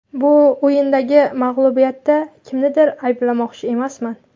Bu o‘yindagi mag‘lubiyatda kimnidir ayblamoqchi emasman.